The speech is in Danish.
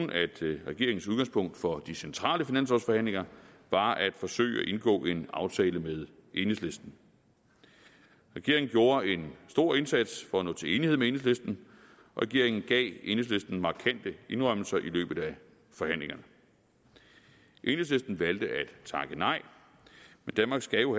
regeringens udgangspunkt for de centrale finanslovsforhandlinger var at forsøge at indgå en aftale med enhedslisten regeringen gjorde en stor indsats for at nå til enighed med enhedslisten og regeringen gav enhedslisten markante indrømmelser i løbet af forhandlingerne enhedslisten valgte at takke nej men danmark skal jo